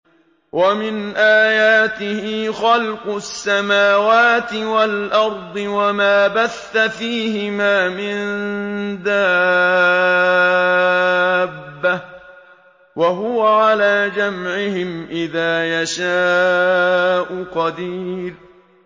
وَمِنْ آيَاتِهِ خَلْقُ السَّمَاوَاتِ وَالْأَرْضِ وَمَا بَثَّ فِيهِمَا مِن دَابَّةٍ ۚ وَهُوَ عَلَىٰ جَمْعِهِمْ إِذَا يَشَاءُ قَدِيرٌ